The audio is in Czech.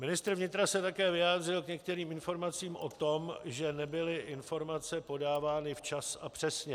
Ministr vnitra se také vyjádřil k některým informacím o tom, že nebyly informace podávány včas a přesně.